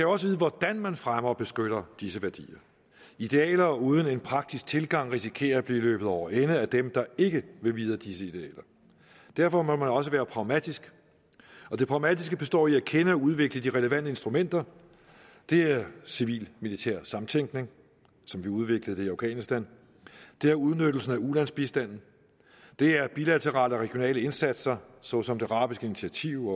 også vide hvordan man fremmer og beskytter disse værdier idealer uden en praktisk tilgang risikerer at blive løbet over ende af dem der ikke vil vide af disse idealer derfor må man også være pragmatisk og det pragmatiske består i at kende og udvikle de relevante instrumenter det er civil militær samtænkning som vi udviklede det i afghanistan det er udnyttelsen af ulandsbistanden det er bilaterale og regionale indsatser såsom det arabiske initiativ